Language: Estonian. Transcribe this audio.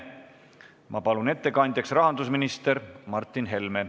Ma palun ettekandjaks rahandusminister Martin Helme.